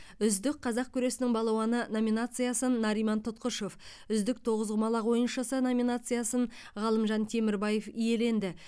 үздік қазақ күресінің балуаны номинациясын нариман тұтқышев үздік тоғызқұмалақ ойыншысы номинациясын ғалымжан темірбаев иеленді